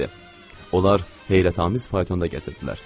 Onlar heyrətamiz faytonda gəzirdilər.